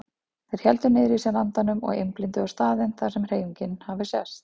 Þeir héldu niðri í sér andanum og einblíndu á staðinn þar sem hreyfingin hafði sést.